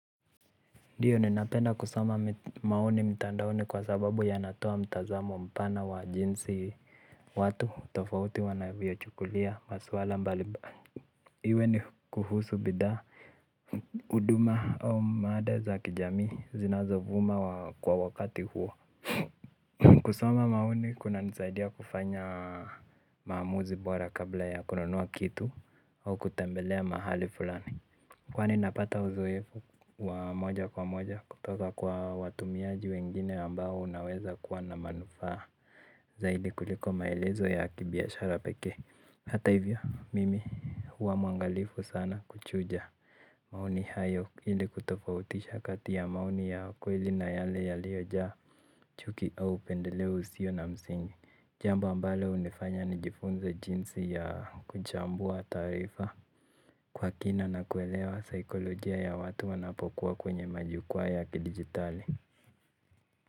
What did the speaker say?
Ndiyo ninapenda kusoma maoni mtandaoni kwa sababu yanatoa mtazamo mpana wa jinsi watu tofauti wanavyochukulia masuala mbalimbali. Iwe ni kuhusu bidhaa huduma au mada za kijamii zinazovuma kwa wakati huo. Kusoma maoni kunanisaidia kufanya maamuzi bora kabla ya kununua kitu au kutembelea mahali fulani. Kwani napata uzoefu wa moja kwa moja kutoka kwa watumiaji wengine ambao unaweza kuwa na manufaa zaidi kuliko maelezo ya kibiashara pekee. Hata hivyo mimi huwa mwangalifu sana kuchuja maoni hayo ili kutofautisha kati ya maoni ya kweli na yale yaliyojaa chuki au pendeleo usiyo na msingi. Jambo ambalo hunifanya nijifunze jinsi ya kuchambua taarifa kwa kina na kuelewa saikolojia ya watu wanapokuwa kwenye majukwa ya kidijitali.